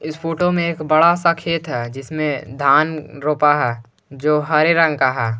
इस फोटो में एक बड़ा सा खेत है जिसमें धान रोपा है जो हरे रंग का है।